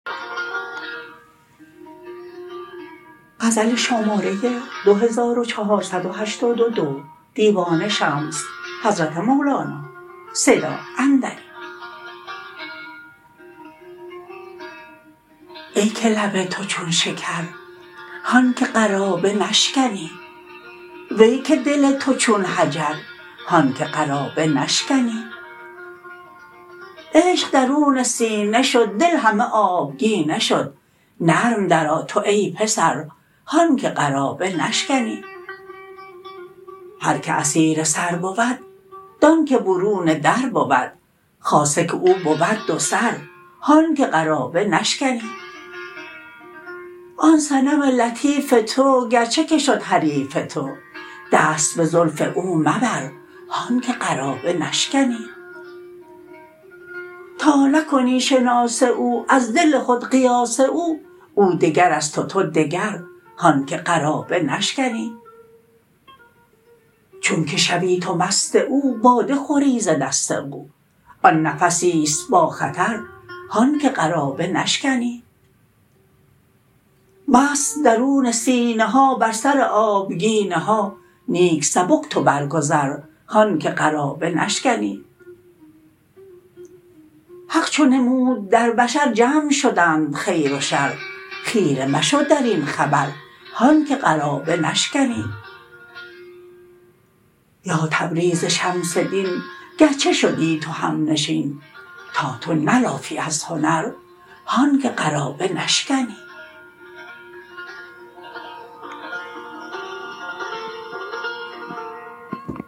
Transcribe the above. ای که لب تو چون شکر هان که قرابه نشکنی وی که دل تو چون حجر هان که قرابه نشکنی عشق درون سینه شد دل همه آبگینه شد نرم درآ تو ای پسر هان که قرابه نشکنی هر که اسیر سر بود دانک برون در بود خاصه که او بود دوسر هان که قرابه نشکنی آن صنم لطیف تو گرچه که شد حریف تو دست به زلف او مبر هان که قرابه نشکنی تا نکنی شناس او از دل خود قیاس او او دگر است و تو دگر هان که قرابه نشکنی چونک شوی تو مست او باده خوری ز دست او آن نفسی است باخطر هان که قرابه نشکنی مست درون سینه ها بر سر آبگینه ها نیک سبک تو برگذر هان که قرابه نشکنی حق چو نمود در بشر جمع شدند خیر و شر خیره مشو در این خبر هان که قرابه نشکنی با تبریز شمس دین گرچه شدی تو همنشین تا تو نلافی از هنر هان که قرابه نشکنی